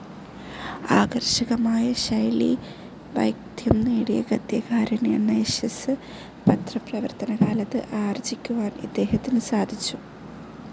ആകർഷകമായ ശൈലീവൈദഗ്ധ്യം നേടിയ ഗദ്യകാരൻ എന്ന യശസ്സ് പത്രപ്രവർത്തനകാലത്ത് ആർജിക്കുവാൻ ഇദ്ദേഹത്തിന് സാധിച്ചു.